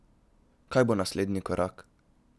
Kaj bo naslednji korak?